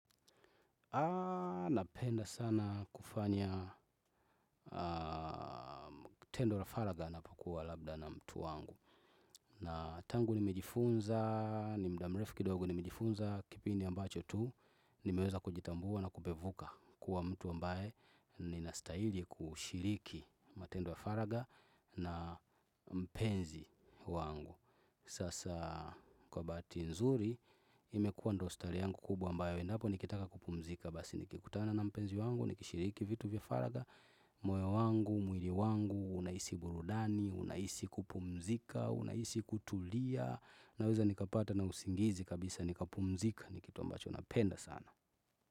Napenda sana kufanya tendo la faraga ninapokua labda na mtu wangu. Na tangu nimejifunza, ni muda murefu kidogo, nimejifunza kipindi ambacho tu, nimeweza kujitambua na kupevuka kuwa mtu ambaye ninastahili kushiriki matendo ya faraga na mpenzi wangu. Sasa kwa bahati nzuri, imekuwa ndo style yangu kubwa ambayo endapo nikitaka kupumzika. Na kisha basi nikikutana na mpenzi wangu, nikishiriki vitu vya faraga, moyo wangu, mwili wangu, unahisi burudani, unahisi kupumzika, unahisi kutulia, naweza nikapata na usingizi kabisa nikapumzika ni kitu ambacho napenda sana.